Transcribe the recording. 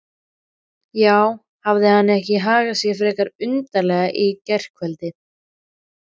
Já, hafði hann ekki hagað sér frekar undarlega í gærkvöld?